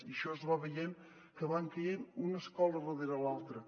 i això es va veient que van caient una escola darrere l’altra